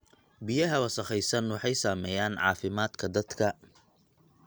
Biyaha wasakhaysan waxay saameeyaan caafimaadka dadka.